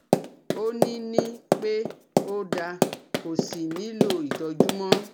Ó ní ní pé ó da kò sí nihlò ìtọ́jú mọ́